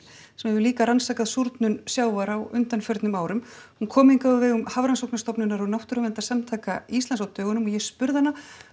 sem hefur líka rannsakað súrnun sjávar á undanförnum árum hún kom hingað á vegum Hafrannsóknarstofnunar og Náttúruverndarsamtaka Íslands á dögunum og ég spurði hana